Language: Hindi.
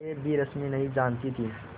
यह भी रश्मि ही जानती थी